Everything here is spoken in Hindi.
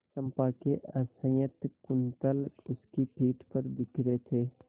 चंपा के असंयत कुंतल उसकी पीठ पर बिखरे थे